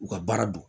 U ka baara don